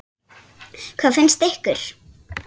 Hvað finnst ykkur?